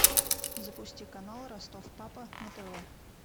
запусти канал ростов папа на тв